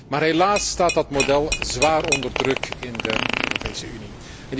Maar helaas staat dat model zwaar onder druk in de Europese Unie.